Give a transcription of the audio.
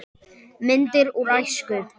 Myndir úr æsku.